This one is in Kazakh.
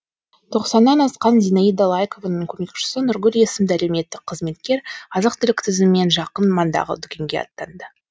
тоқсаннан асқан зинаида лайкованың көмекшісі нұргүл есімді әлеуметтік қызметкер азық түлік тізімімен жақын маңдағы дүкенге аттанды